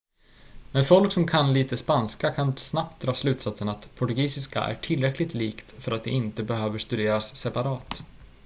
men folk som kan lite spanska kan snabbt dra slutsatsen att portugisiska är tillräckligt likt för att det inte behöver studeras separat